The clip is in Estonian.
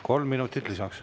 Kolm minutit lisaks.